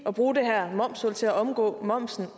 at bruge det her momshul til at omgå momsen